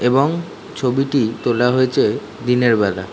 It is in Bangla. এবং ছবিটি তোলা হয়েছে দিনের বেলা।